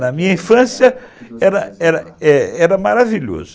Na minha infância, era era maravilhoso.